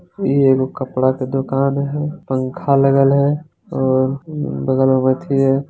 इ एगो कपड़ा के दोकान है पंखा लगल हेय और बगल मे अथी है।